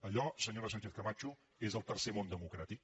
allò senyora sánchezcamacho és el tercer món democràtic